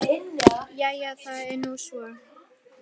Jæja það er nú svo.